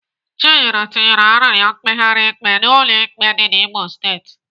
Chinyere tinyere arịrịọ mkpegharị ikpe n'ụlọ ikpe dị n'Imo steeti.